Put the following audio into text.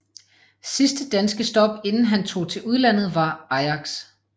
Sidste danske stop inden han tog til udlandet var Ajax